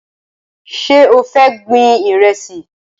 Ṣé o fẹ́ gbin Ìrẹ́sì?